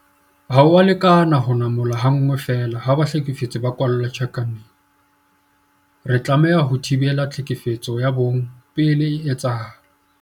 Ha ho a lekana ho namola ha nngwe feela ha bahlekefetsi ba kwalla tjhankaneng. Re tlameha ho thibela tlhekefetso ya bong pele e etsahala.